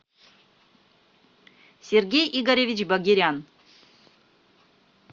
сергей игоревич багерян